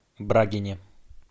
брагине